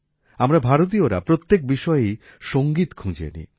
আমরা ভারতীয়রা প্রত্যেক বিষয়েই সংগীত খুঁজে নিই